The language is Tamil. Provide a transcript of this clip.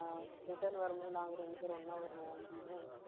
அஹ் return வரும்போது, நாங்க ரெண்டு பேரும் ஒண்ணா வருவோம் அப்படின்னு